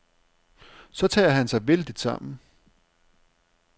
Så tager han sig vældigt sammen.